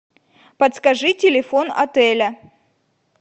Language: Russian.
подскажи телефон отеля